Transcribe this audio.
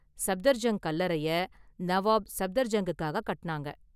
சப்தர்ஜங் கல்லறையை நவாப் சப்தர்ஜங்கிற்காக கட்டுனாங்க.